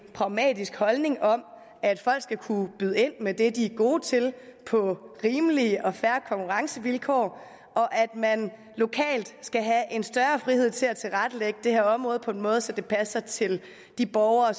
pragmatiske holdning at folk skal kunne byde ind med det de er gode til på rimelige og fair konkurrencevilkår og at man lokalt skal have en større frihed til at tilrettelægge det her område på en måde så det passer til de borgere